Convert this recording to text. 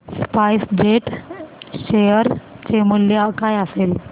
spice jet share चे मूल्य काय असेल